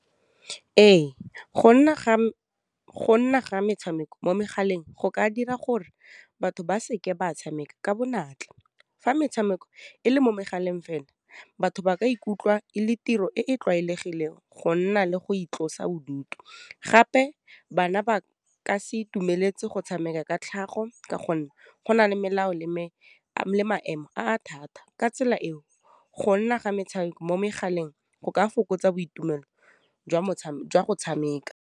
Ee, go nna ga metshameko mo megaleng go ka dira gore batho ba seke ba tshameka ka bonatla, fa metshameko e le mo megaleng fela batho ba ka ikutlwa e le tiro e e tlwaelegileng go nna le go itlosa bodutu, gape bana ba ka se itumeletse go tshameka ka tlhago ka gonne go na le melao le maemo a thata, ka tsela eo gonna ga metshameko mo megaleng go ka fokotsa boitumelo jwa go tshameka.